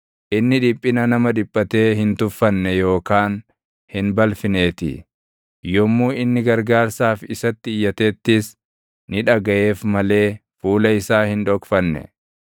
Inni dhiphina nama dhiphatee hin tuffanne yookaan hin balfineetii; yommuu inni gargaarsaaf isatti iyyatettis, ni dhagaʼeef malee fuula isaa hin dhokfanne.